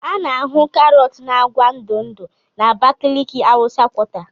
A na-ahụ karọt na agwa ndụ ndụ na Abakaliki hausa quarter.